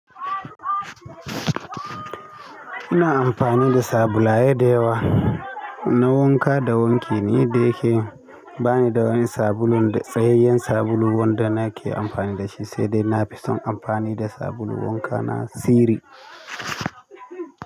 Ina amfani da sabulaye da yawa na wanka da wanki ne da yake ba ni da wani sabulunda tsayayyen sabulu wanda nake amfani dashi sai dai na fison amfani da sabulun wanka na Siri.